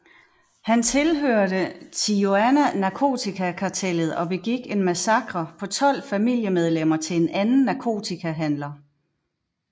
Han tilhørte Tijuana narkotikakartellet og begik en massakre på tolv familiemedlemmer til en anden narkotikahandler